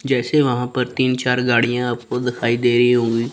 जैसे वहां पर तीन चार गाड़ियां आपको दिखाई दे रहीं होगी।